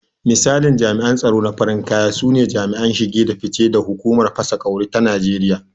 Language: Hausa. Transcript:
Misalin jami’an tsaro na farin kaya sune jami'an shige da fice da hukumar fasa ƙwauri ta Najeriya.